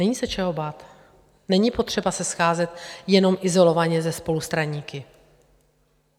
Není se čeho bát, není potřeba se scházet jenom izolovaně ze spolustraníky.